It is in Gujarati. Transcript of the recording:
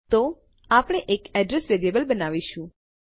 તો આપણે એક એડ્રેસ વેરીએબલ બનાવીશું